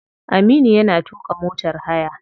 Aminu yana tuka motar haya.